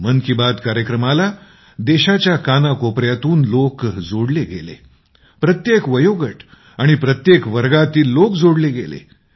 मन की बात कार्यक्रमाला देशाच्या कानाकोपऱ्यातून लोक जोडले गेले प्रत्येक वयोगट आणि प्रत्येक वर्गातील लोक जोडले गेले